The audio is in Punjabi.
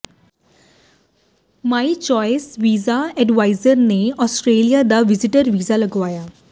ਮਾਈ ਚੁਆਇਸ ਵੀਜ਼ਾ ਐਡਵਾਈਜ਼ਰ ਨੇ ਆਸਟ੍ਰੇਲੀਆ ਦਾ ਵਿਜ਼ਟਰ ਵੀਜ਼ਾ ਲਗਵਾਇਆ